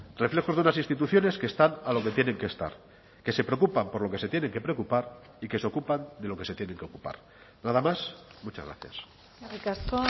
reflejos de unas instituciones que están a lo que tienen que estar que se preocupan por lo que se tiene que preocupar y que se ocupan de lo que se tienen que ocupar nada más muchas gracias eskerrik asko